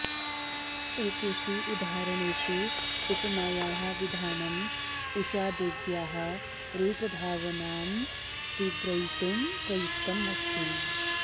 एतेषु उदाहरणेषु उपमायाः विधानम् उषादेव्याः रूपभावनां तीव्रयितुं प्रयुक्तमस्ति